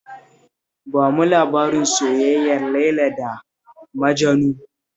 Ba mu labarin soyayyar Laila da Majanu